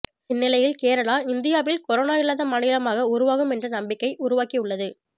இந்நிலையில் கேரளா இந்தியாவில் கொரோனா இல்லாத மாநிலமாக உருவாகும் என்ற நம்பிக்கை உருவாக்கி உள்ளது